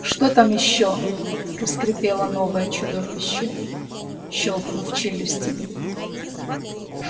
что там ещё проскрипело новое чудовище щёлкнув челюстями